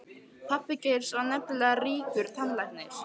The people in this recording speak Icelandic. Pabbi Geirs var nefnilega ríkur tannlæknir.